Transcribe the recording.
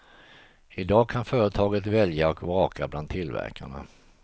Idag kan företaget välja och vraka bland tillverkarna.